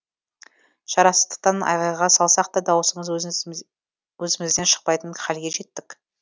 шарасыздықтан айғайға салсақ та дауысымыз өзімізден шықпайтын хәлге жеттік